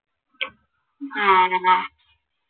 ആഹ്